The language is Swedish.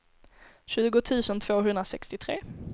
tjugo tusen tvåhundrasextiotre